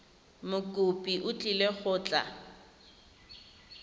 mokopi o tlile go tla